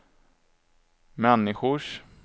människors